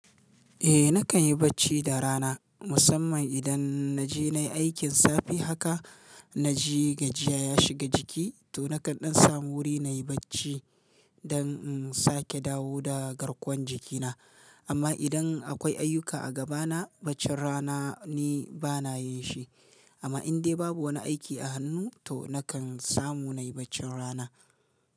Eh nakan yi bacci da rana musamman idan na je nayi aikin safe haka na ji gajiya ya shiga jiki to nakan sam wuri nayi bacci don in sake dawo da garkuwan jikina. Amma idan akwai ayuka a gabana baccin rana ni bana yin shi. Amma in dai babu wani aiki a hannu to nakan samu nayi baccin rana.